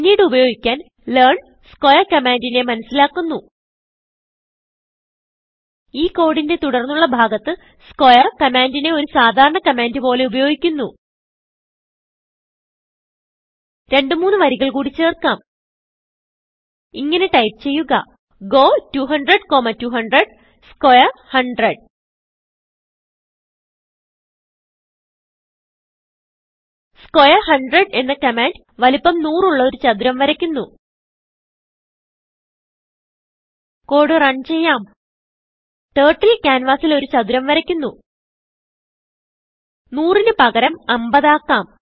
പിന്നീട് ഉപയോഗിക്കാൻ learn squareകമാൻഡിനെ മനസിലാക്കുന്നു ഈ കോഡിന്റെ തുടർന്നുള്ള ഭാഗത്ത് സ്ക്വയർ കമാൻഡിനെ ഒരു സാധാരണ കമാൻഡ് പോലെ ഉപയോഗിക്കുന്നു രണ്ടു മൂന്ന് വരികൾ കൂടി ചേർക്കാം ഇങ്ങനെ ടൈപ്പ് ചെയ്യുക ഗോ 200200 സ്ക്വയർ 100 സ്ക്വയർ 100 എന്ന കമാൻഡ് വലുപ്പം100ഉള്ള ഒരു ചതുരം വരയ്ക്കുന്നു കോഡ് റൺ ചെയ്യാം ടർട്ടിൽ ക്യാൻവാസിൽ ഒരു ചതുരം വരയ്ക്കുന്നു 100 ന് പകരം 50 ആക്കാം